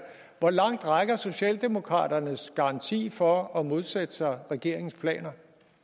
hvor langt rækker socialdemokratiets garanti for at modsætte sig regeringens planer